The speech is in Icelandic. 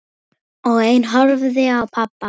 Og ein horfði á pabba.